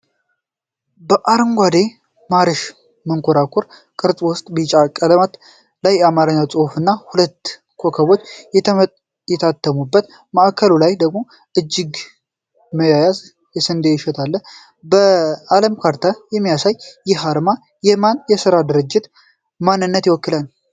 በአረንጓዴ የማርሽ መንኮራኩር ቅርፅ ውስጥ፣ ቢጫ ቀለበት ላይ የአማርኛ ፅሑፍ እና ሁለት ኮከቦች የታተሙበት፣ ማዕከሉ ላይ ደግሞ እጅ ለእጅ መያያዝ እና የስንዴ እሸት አለ። በ ዓለም ካርታ የሚያሳየው ይህ አርማ፣ የማን የሥራ ድርጅት ማንነትን ያመለክታል?